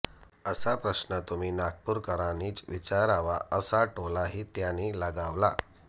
असा प्रश्न तुम्ही नागपूरकरांनीच विचारावा असा टोलाही त्यांनी लगावला